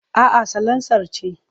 A'a salansar ce.